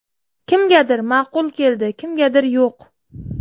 Kimgadir ma’qul keldi, kimgadir yo‘q.